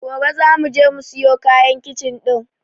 Gobe zamu je mu siyo kayan kicin ɗin.